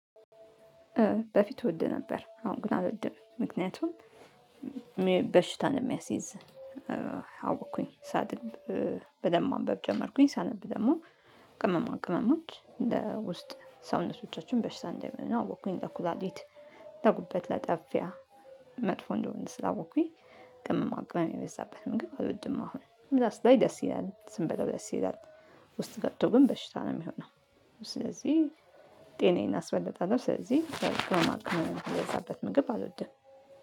በፊት እወድ ነበር አሁን ግን አውልድም ምክንያቱም በሽታን የሚያስይዝ አወቅኩኝ ሳድብ በደንብ ማንበብ ጀመርኩኝ። ሳነብ ደግሞ ቅመማ ቅመማች ለውስጥ ሰውነቶቻችን በሽታ እንደምን አወቅኩኝ። ለኩላሊት ለጉበት ለጠፊያ መጥፎ እንደሆነ ስላወቅኩኝ ቅምም አቅም የበዛበት ምግብ አልወድም። አሁን ሲታይ ደስ ይላል ስንበላው ደስ ይላል ውስጥ ገብቶ ግን በሽታ ነው ሚሆነው። ስለዚህ ጤናዬን አስበልጣለሁ። ስለዚህ ተጨማሪ ቅመማ ቅመም የበዛበት ምግብ አልወድም።